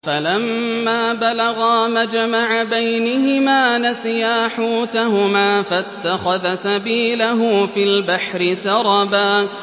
فَلَمَّا بَلَغَا مَجْمَعَ بَيْنِهِمَا نَسِيَا حُوتَهُمَا فَاتَّخَذَ سَبِيلَهُ فِي الْبَحْرِ سَرَبًا